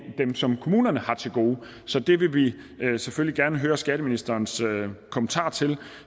dem som kommunerne har til gode så det vil vi selvfølgelig gerne høre skatteministerens kommentar til